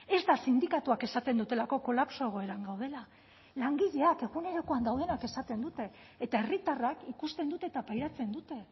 ez da sindikatuek esaten dutelako kolapso egoeran gaudela langileek egunerokoan daudenak esaten dute eta herritarrek ikusten dute eta pairatzen dute